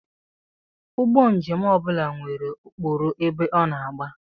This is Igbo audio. Ụgbọ njem ọ bụla nwere okporo ebe ọ na-agba